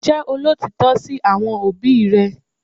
Jẹ́ olótìítọ́ sí àwọn òbí rẹ